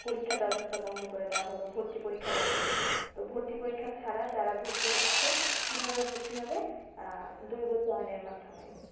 পরীক্ষার ব্যবস্থা বন্ধ করে দেয়া হলো ভর্তি পরীক্ষা বন্ধ তো ভর্তি পরীক্ষা ছাড়া যারা ভর্তি হচ্ছে কিভাবে ভর্তি হবে আহ এর মাধ্যমে,